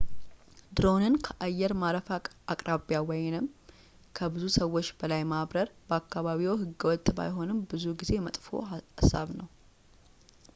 ድሮንን ከአየር ማረፊያ አቅራቢያ ወይም ከብዙ ሰዎች በላይ ማብረር በአካባቢዎ ህገወጥ ባይሆንም ብዙ ጊዜ መጥፎ ሃሳብ ነው